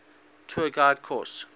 tour guide course